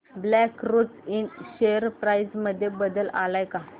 black Rose Ind share price मध्ये बदल आलाय का